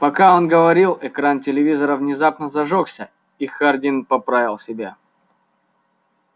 пока он говорил экран телевизора внезапно зажёгся и хардин поправил себя